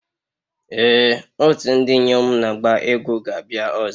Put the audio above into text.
Ee otu ndị inyom na-agba egwu ga-abịa ọzọ.